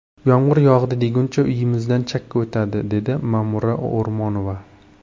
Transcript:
Yomg‘ir yog‘di deguncha uyimizdan chakka o‘tadi”, dedi Ma’mura O‘rmonova.